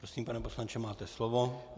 Prosím, pane poslanče, máte slovo.